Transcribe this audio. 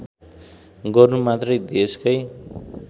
गर्नु मात्रै देशकै